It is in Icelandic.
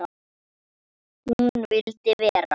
Hún vildi vera.